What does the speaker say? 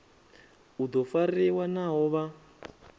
u do fariwa naho vha